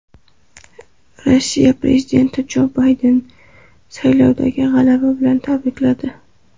Rossiya prezidenti Jo Baydenni saylovdagi g‘alaba bilan tabrikladi.